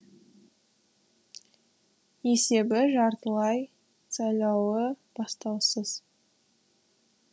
есебі жартылай сайлауы бастаусыз